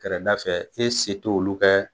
Kɛrɛda fɛ e se t'olu kɛ.